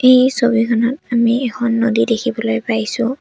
এই ছবিখনত আমি এখন নদী দেখিবলৈ পাইছোঁ।